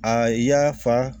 A y'a fa